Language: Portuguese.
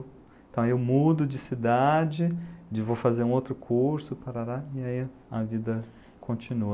Então, eu mudo de cidade, vou fazer um outro curso, e aí a vida continua.